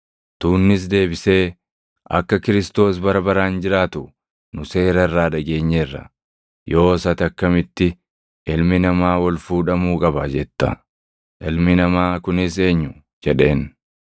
Tuunnis deebisee, “Akka Kiristoos + 12:34 yookaan Masiihichi bara baraan jiraatu nu Seera irraa dhageenyeerra; yoos ati akkamitti, ‘Ilmi Namaa ol fuudhamuu qaba’ jetta? ‘Ilmi Namaa’ kunis eenyu?” jedheen.